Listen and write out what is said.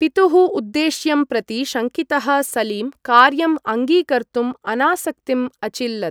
पितुः उद्देश्यं प्रति शङ्कितः सलीम् कार्यम् अङ्गीकर्तुम् अनासक्तिम् अचिल्लत्।